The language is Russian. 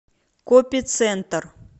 копи центр